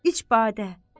İç badə.